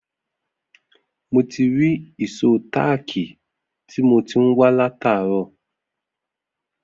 Mo ti rí ìsó táákì tí mo ti ń wa lataro